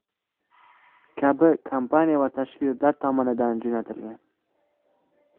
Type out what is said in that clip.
kabi kompaniya va tashkilotlar tomonidan jo‘natilgan.